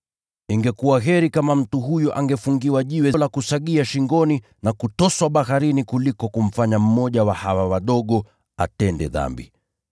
Ingekuwa heri kama mtu huyo angefungiwa jiwe la kusagia shingoni na kutoswa baharini, kuliko kumsababisha mmojawapo wa hawa wadogo kutenda dhambi.